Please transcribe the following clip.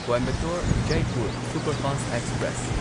Coimbatore Jaipur superfast express